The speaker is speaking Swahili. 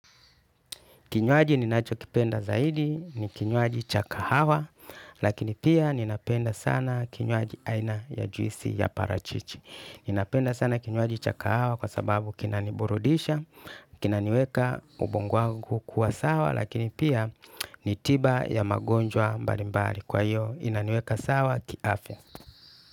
Kinywaji ninacho kipenda zaidi, ni kinywaji chakahawa, lakini pia ninapenda sana kinywaji aina ya juisi ya parachichi. Ninapenda sana kinywaji cha kahawa kwa sababu kinani burudisha, kinaniweka ubongo wangu kuwa sawa, lakini pia ni tiba ya magonjwa mbalimbali. Kwa hiyo, inaniweka sawa, kiafya.